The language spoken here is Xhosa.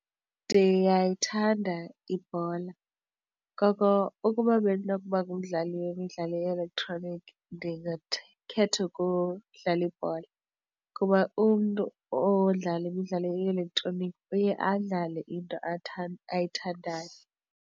Ndiyayithanda ibhola ngoko ukuba bendinokuba ngumdlali wemidlalo ye-elektroniki ndingakhetha ukudlala ibhola kuba umntu odlala imidlalo ye-elektroniki uye adlale into ayithandayo.